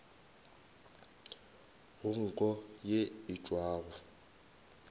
go nko ye e tšwago